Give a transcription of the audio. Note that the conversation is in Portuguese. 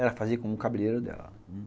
Ela fazia com o cabeleiro dela.